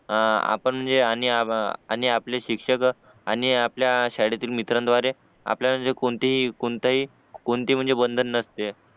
आपण जे आणि आप आणि आपले शिक्षक आणि आपल्या शाळेतील मित्रांद्वारे आपल्याला जे कोणतेही कोणताही कोणते पण म्हणजे बंधन नसते